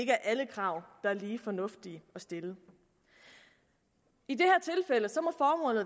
er alle krav der er lige fornuftige at stille i det